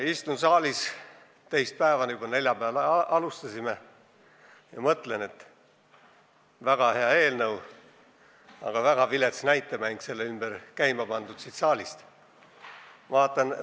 Istun saalis teist päeva – neljapäeval ju alustasime – ja mõtlen, et see on väga hea eelnõu, mille ümber on aga siin saalis väga vilets näitemäng käima pandud.